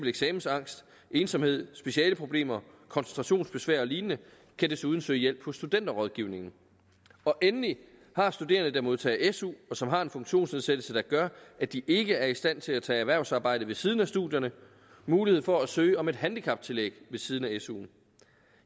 eksamensangst ensomhed specielle problemer koncentrationsbesvær og lignende kan desuden søge hjælp hos studenterrådgivningen endelig har studerende der modtager su og som har en funktionsnedsættelse der gør at de ikke er i stand til at tage erhvervsarbejde ved siden af studierne mulighed for at søge om et handicaptillæg ved siden af su